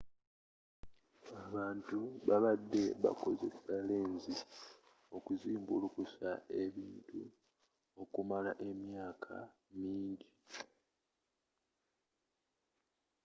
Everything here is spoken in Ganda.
abantu babadde bakozesa lenzi okuzimbulukusa ebintu okumala emyaka mingi